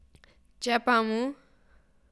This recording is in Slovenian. Če pa mu...